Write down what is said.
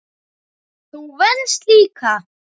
Þú venst líka.